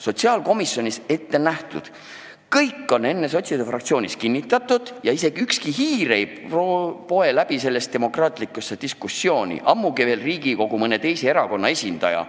Sotsiaalkomisjonis on kõik ette nähtud, kõik on enne sotside fraktsioonis kinnitatud ja ükski hiir ei poe sellesse diskussiooni, ammugi veel mõne teise fraktsiooni esindaja.